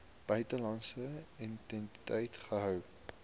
buitelandse entiteit gehou